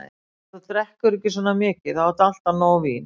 Ef þú drekkur ekki svona mikið, þá áttu alltaf nóg vín.